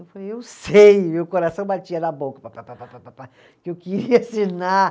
Eu falei, eu sei, meu coração batia na boca pá, pá, pá, pá, pá, pá, pá, pá, que eu queria assinar.